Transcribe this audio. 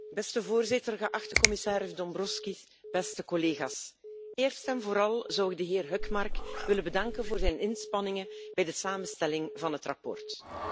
Beste voorzitter, geachte commissaris Dombrovskis, beste collega's, eerst en vooral zou ik de heer Hökmark willen bedanken voor zijn inspanningen bij de samenstelling van het verslag.